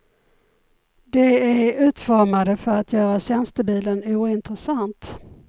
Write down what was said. De är utformade för att göra tjänstebilen ointressant.